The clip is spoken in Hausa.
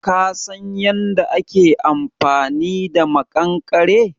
Ka San yanda ake amfani da maƙankare?